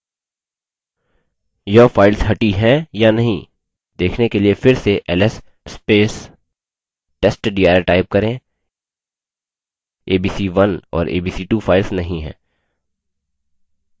यह फाइल्स हटी हैं या नहीं देखने के लिए फिर से ls testdir type करें abc1 और abc2 फाइल्स नहीं हैं